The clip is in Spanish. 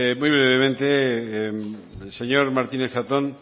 muy brevemente señor martínez zatón